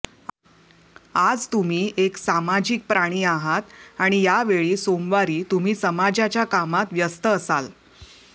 आज तुम्ही एक सामाजिक प्राणी आहात आणि या वेळी सोमवारी तुम्ही समाजाच्या कामात व्यस्त असाल